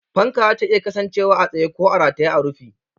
Fanka zata iya kasancewa a tsaye ko a rataye a rufi.